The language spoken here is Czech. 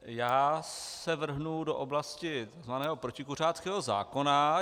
Já se vrhnu do oblasti tzv. protikuřáckého zákona.